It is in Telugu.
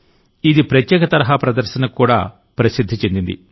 ఇది ప్రత్యేక తరహా ప్రదర్శనకు కూడా ప్రసిద్ధి చెందింది